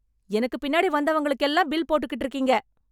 எனக்கு பின்னாடி வந்தவங்களுக்கு எல்லாம் பில் போட்டுக்கிட்டு இருக்கீங்க